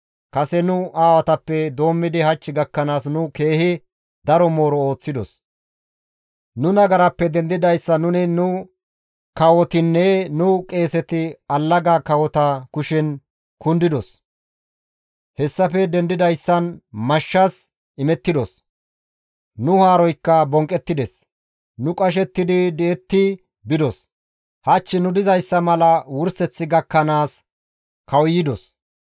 Kase nu aawatappe doommidi hach gakkanaas nu keehi daro mooro ooththidos; nu nagarappe dendidayssan nuni, nu kawotinne nu qeeseti allaga kawota kushen kundidos; hessafe dendidayssan mashshas imettidos; nu haaroykka bonqqettides; nu qashettidi di7etti bidos; hach nu dizayssa mala wurseth gakkanaas kawuyidos.